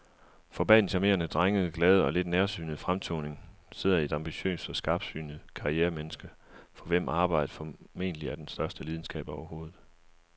For bag den charmerende, drengede, glade og lidt nærsynede fremtoning sidder et ambitiøst og skarpsynet karrieremenneske, for hvem arbejdet formentlig er den største lidenskab overhovedet.